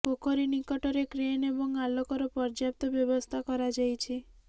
ପୋଖରୀ ନିକଟରେ କ୍ରେନ ଏବଂ ଆଲୋକର ପର୍ଯ୍ୟାପ୍ତ ବ୍ୟବସ୍ଥା କରାଯାଇଛି